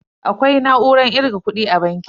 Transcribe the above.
Akwai na'urar kirga kudi a banki.